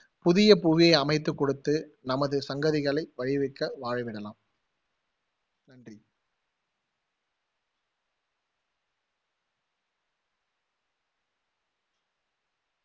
புதிய புவியை அமைத்து கொடுத்து நமது சங்கதிகளை வாழவிடலாம்